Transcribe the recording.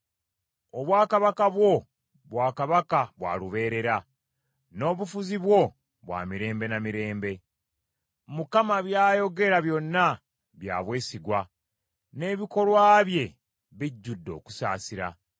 Obwakabaka bwo, bwakabaka bwa lubeerera, n’obufuzi bwo bwa mirembe na mirembe. Mukama by’ayogera byonna bya bwesigwa, n’ebikolwa bye bijjudde okusaasira.